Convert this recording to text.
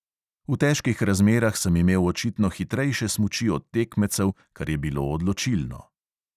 V težkih razmerah sem imel očitno hitrejše smuči od tekmecev, kar je bilo odločilno.